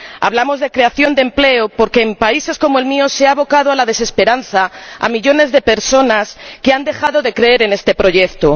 Hablamos de creación de empleo porque en países como el mío se ha abocado a la desesperanza a millones de personas que han dejado de creer en este proyecto.